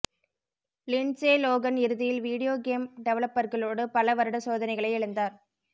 Lindsey Lohan இறுதியில் video game டெவலப்பர்களோடு பல வருட சோதனைகளை இழந்தார்